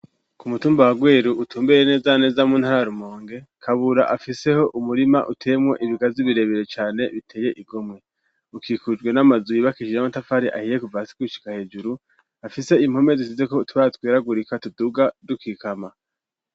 Ku mutumba wa Rweru utumbereye neza na neza mu ntara ya Rumonge, Kabura afiseho umurima uteyemwo ibigazi birebire cane biteye igomwe, ukikujwe n'amazu yubakishije amatafari ahiye kuva hasi gushika hejuru, afise impome zisizeko utubara tweragurika tuduga dukikama.